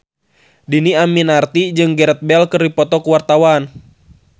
Dhini Aminarti jeung Gareth Bale keur dipoto ku wartawan